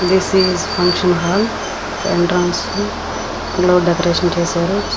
This is function hall decorate చేశారు.